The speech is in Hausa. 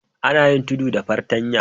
Ana yin tudu da fartanya.